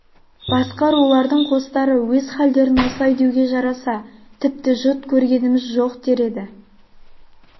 басқа рулардың қостары өз халдерін осылай деуге жараса тіпті жұт көргеміз жоқ дер еді